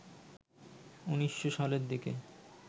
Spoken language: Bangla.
১৯০০ সালের দিকে